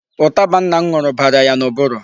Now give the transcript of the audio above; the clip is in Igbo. Ụtaba nna m ṅụrụ bara ya n'ụbụrụ.